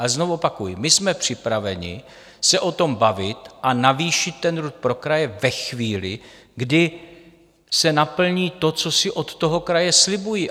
A znovu opakuji: My jsme připraveni se o tom bavit a navýšit ten RUD pro kraje ve chvíli, kdy se naplní to, co si od toho kraje slibují.